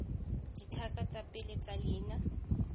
ditlhaka tsa pele tsa leina